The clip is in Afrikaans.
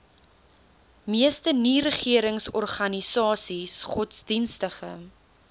meeste nieregeringsorganisasies godsdienstige